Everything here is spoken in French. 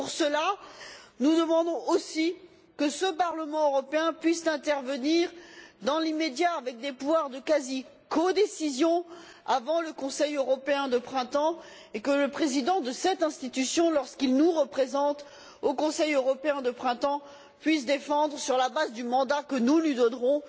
Pour cela, nous demandons aussi que ce Parlement européen puisse intervenir dans l'immédiat avec des pouvoirs de quasi codécision avant le Conseil européen de printemps, et que le Président de cette institution, lorsqu'il nous représente au Conseil européen de printemps, puisse défendre, sur la base du mandat que nous lui donnerons,